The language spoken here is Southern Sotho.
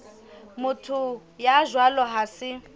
motho ya jwalo ha se